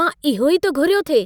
मां इहो ई त घुरियो थे।